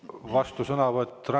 Vastusõnavõtt?